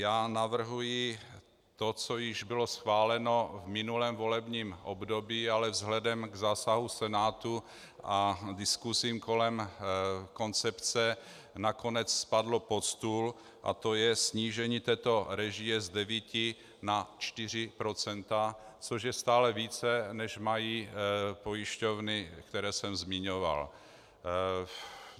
Já navrhuji to, co již bylo schváleno v minulém volebním období, ale vzhledem k zásahu Senátu a diskusím kolem koncepce nakonec spadlo pod stůl, to je snížení této režie z 9 na 4 %, což je stále více, než mají pojišťovny, které jsem zmiňoval.